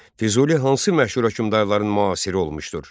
Füzuli hansı məşhur hökmdarların müasiri olmuşdur?